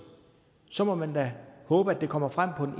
så må man da håbe at det kommer frem på